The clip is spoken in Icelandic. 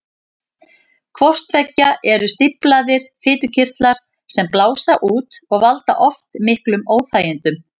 Hvort tveggja eru stíflaðir fitukirtlar sem blása út og valda oft miklum óþægindum.